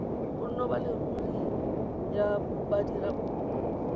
bonno ba leruri ya badiradikopo